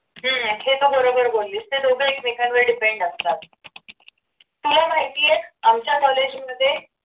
हम्म हे तू बरोबर बोललीस ते दोघंही एकमेकांवर depend असतात तुला माहिती आमच्या कॉलेजमध्ये